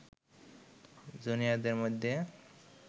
জুনিয়রদের মধ্যে